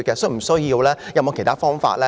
是否有其他方法呢？